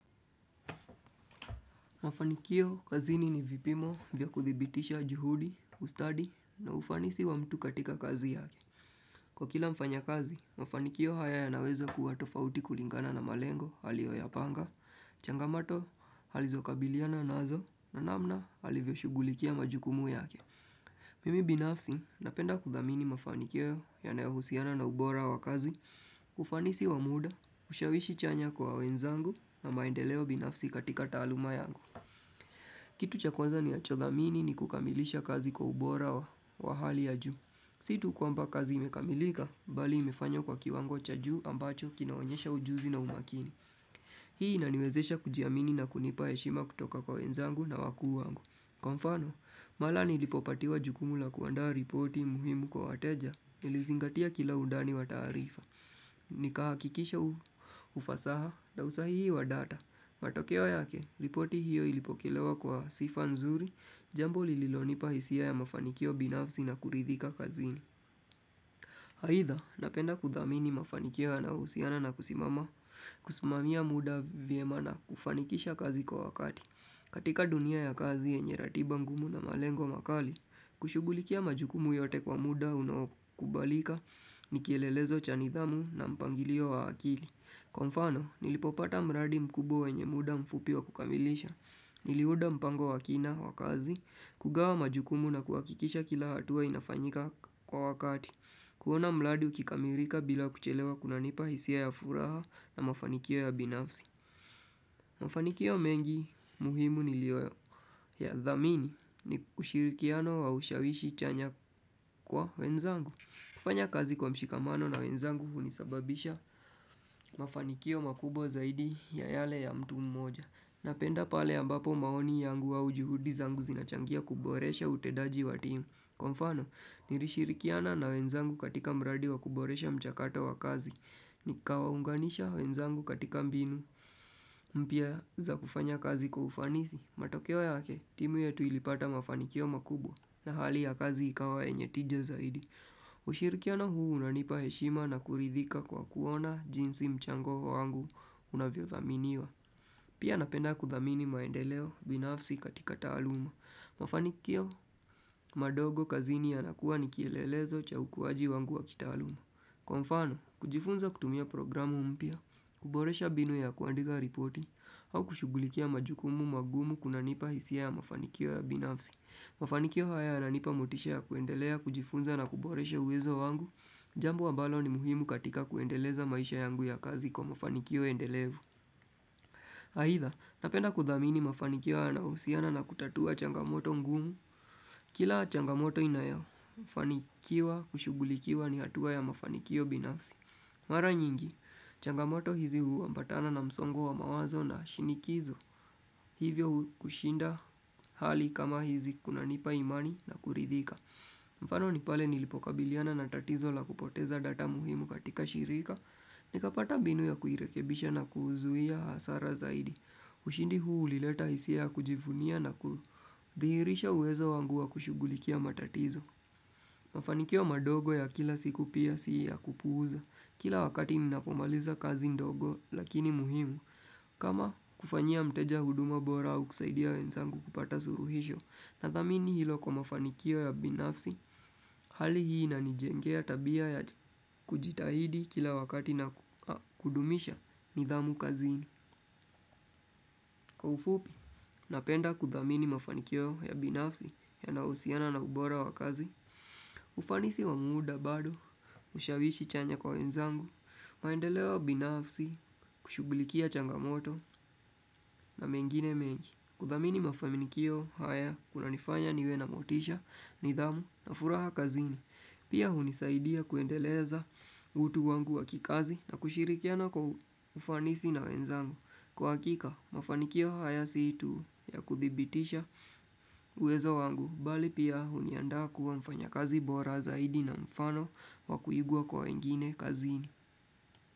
Mafanikio kazini ni vipimo vya kuthibitisha juhudi, ustadi na ufanisi wa mtu katika kazi yake. Kwa kila mfanya kazi, mafanikio haya ya nawezo kuatofauti kulingana na malengo, halio ya panga, changamato halizokabiliana naazo na namna halivyoshugulikia majukumu yake. Mimi binafsi napenda kudamini mafanikio ya naeo husiana na ubora wa kazi, ufanisi wa muda, ushawishi chanya kwa wenzangu na maendeleo binafsi katika taluma yangu. Kitu cha kwanza ninaachodhamini ni kukamilisha kazi kwa ubora wa hali ya juu. Situ kwa mba kazi imekamilika, bali imefanyo kwa kiwango cha juu ambacho kinaonyesha ujuzi na umakini. Hii na niwezesha kujiamini na kunipa yeshima kutoka kwa wenzangu na wakuu wangu. Kwa mfano, malani ilipopatiwa jukumula kuandaa ripoti muhimu kwa wateja, ilizingatia kila udani wa tarifa. Nikaha kikisha ufasaha, dawsa hii wa data. Matokeo yake, ripoti hiyo ilipokelewa kwa sifa nzuri, jambo lililonipa hisia ya mafanikio binafsi na kuridhika kazini. Haitha, napenda kudhamini mafanikio anahusiana na kusimama, kusimamia muda vyemana kufanikisha kazi kwa wakati. Katika dunia ya kazi enye ratiba ngumu na malengo makali, kushugulikia majukumu yote kwa muda unokubalika, nikelelezo chani dhamu na mpangilio wa akili. Kwa fano, nilipopata mradi mkubo wenye muda mfupi wa kukamilisha. Nilihuda mpango wakina wakazi, kugawa majukumu na kuakikisha kila hatua inafanyika kwa wakati. Kuona mradi ukikamirika bila kuchelewa kuna nipa hisia ya furaha na mafanikio ya binafsi. Mafanikio mengi muhimu nilioyo ya dhamini ni ushirikiano wa ushawishi chanya kwa wenzangu. Kufanya kazi kwa mshikamano na wenzangu unisababisha. Mafanikio makubo zaidi ya yale ya mtu mmoja. Napenda pale ambapo maoni yangu wa ujuhudi zangu zinachangia kuboresha utedaji watimu. Kwa mfano, nirishirikiana na wenzangu katika mradi wa kuboresha mchakato wa kazi. Ni kawaunganisha wenzangu katika mbinu mpia za kufanya kazi kwa ufanisi matokeo ya, timu yetu ilipata mafanikio makubwa na hali ya kazi ikawa enye tija zaidi ushirikiano huu unanipa heshima na kuridhika kwa kuona jinsi mchango wangu unavyodhaminiwa Pia napenda kudhamini maendeleo binafsi katika taaluma Mafanikio madogo kazini yanakuwa nikielelezo cha ukuwaji wangu wa kitaaluma Kwa mfano, kujifunza kutumia programu umpia, kuboresha binu ya kuandiga reporting, au kushugulikia majukumu magumu kuna nipa hisia ya mafanikio ya binafsi. Mafanikio haya nanipa motisha ya kuendelea, kujifunza na kuboresha uwezo wangu, jambu ambalo ni muhimu katika kuendeleza maisha yangu ya kazi kwa mafanikio ya ndelevu. Aidha, napenda kudhamini mafanikiwa na usiana na kutatua changamoto ngumu. Kila changamoto inayofanikiwa kushugulikiwa ni hatua ya mafanikio binafsi. Mara nyingi, changamoto hizi uambatana na msongo wa mawazo na shinikizo hivyo kushinda hali kama hizi kuna nipa imani na kuridhika. Mfano ni pale nilipoka biliana na tatizo la kupoteza data muhimu katika shirika ni kapata mbinu ya kuhirekebisha na kuhuzuhia hasara zaidi. Ushindi huu ulileta hisia ya kujifunia na kuhirisha uwezo wangu wa kushugulikia matatizo. Mafanikio madogo ya kila siku pia si ya kupuza Kila wakati minapomaliza kazi ndogo lakini muhimu. Kama kufanyia mteja huduma bora au kusaidia wenzangu kupata suruhisho Nathamini hilo kwa mafanikio ya binafsi, hali hii na nijengea tabia ya kujitahidi kila wakati na kudumisha nidhamu kazini. Kwa ufupi, napenda kuthamini mafanikio ya binafsi ya nausiana na ubora wa kazi, ufanisi wamuda bado, ushawishi chanya kwa wenzangu, maendeleo binafsi, kushugulikia changamoto na mengine menji. Kuthamini mafanikio haya kuna nifanya niwe na motisha, nidhamu na furaha kazini. Pia hunisaidia kuendeleza utu wangu wa kikazi na kushirikiana kwa ufanisi na wenzangu. Kwa hakika, mafanikio haya siitu ya kuthibitisha uwezo wangu, bali pia huniandaa kuwa mfanya kazi bora zaidi na mfano wa kuigua kwa wengine kazini.